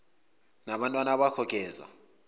nabantwana bakho geza